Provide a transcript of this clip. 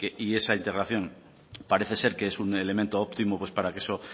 y esa integración parece ser que es un elemento óptimo pues para que eso